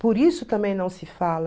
Por isso também não se fala.